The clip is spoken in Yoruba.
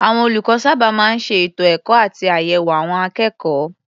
Àwọn olùkọ́ sábà máa ń ṣe ètò ẹ̀kọ́ àti àyẹ̀wò àwọn akékọ̀ọ́.